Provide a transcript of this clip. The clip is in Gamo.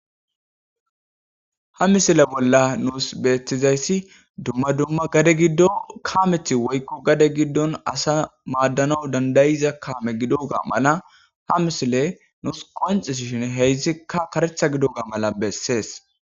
ha misile bolla nuus beettizayssi dumma dumma gade giddo kaameti woykko gade giddon asa maaddanawu dandayiza kaame gidoga mala ha misile nuus qonxis shin heyszikka karetha gido ga mala bessees